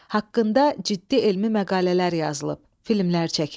Haqqında ciddi elmi məqalələr yazılıb, filmlər çəkilib.